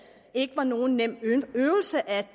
ikke var nogen nem øvelse at